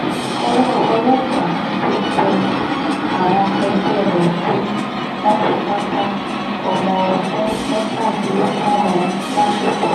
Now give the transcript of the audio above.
owó ọlọ́pàá um ti tẹ àwọn ẹgbẹ́ rẹ̀ tí um wọ́n fipá bá ọmọọdún mẹ́tàdínlógún ọ̀hún láṣepọ̀